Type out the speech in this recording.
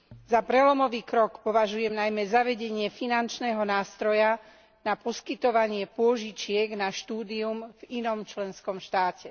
Za prelomový krok považujem najmä zavedenie finančného nástroja na poskytovanie pôžičiek na štúdium v inom členskom štáte.